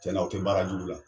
Cɛn na aw tɛ baara jugu la.